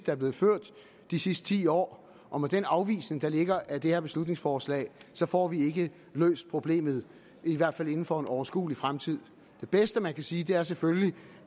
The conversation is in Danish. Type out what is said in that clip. er blevet ført de sidste ti år og med den afvisning der ligger af det her beslutningsforslag så får vi ikke løst problemet i hvert fald ikke inden for en overskuelig fremtid det bedste man kan sige er selvfølgelig